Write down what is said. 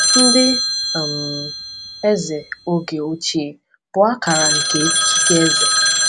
Ndị um eze oge ochie bụ akara nke ikike eze.